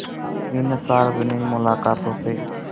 इन सार्वजनिक मुलाक़ातों से